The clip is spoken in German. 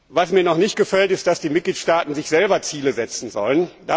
Was mir noch nicht gefällt, ist, dass sich die Mitgliedstaaten selber Ziele setzen sollen.